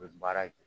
U bɛ baara kɛ